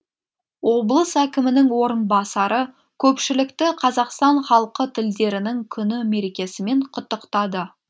облыс әкімінің орынбасары көпшілікті қазақстан халқы тілдерінің күні мерекесімен құттықтады